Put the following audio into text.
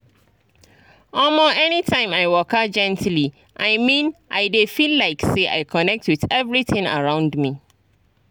omo anytime i waka gently i mean i dey feel like say i connect with everything around me.